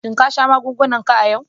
Shin ka sha magungunan k a yau?